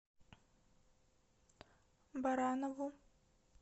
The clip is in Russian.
баранову